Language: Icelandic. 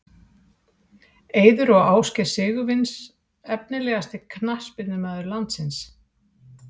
Eiður og Ásgeir Sigurvins Efnilegasti knattspyrnumaður landsins?